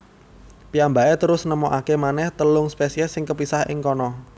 Piyambakè terus nemokakè manèh telung spèsiès sing kepisah ing kana